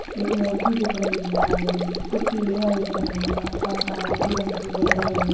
एक मूर्ति दिख रही है काले रंग की कुछ सीढ़ियां दिख रही है आस-पास नारंगी रंग से बोडर बनी हुई --